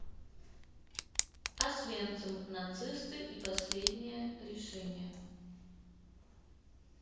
освенцим нацисты и последнее решение